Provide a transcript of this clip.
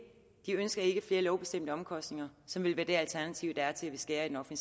flere lovbestemte omkostninger som vil være det alternativ der er til at skære i